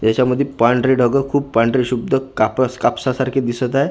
याच्यामध्ये पांढरे ढग खूप पांढरे शुब्ध कापडा कापसासारखे दिसत आहे.